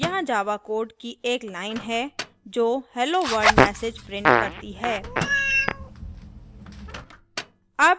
यहाँ java code की एक line है जो hello world message prints करती है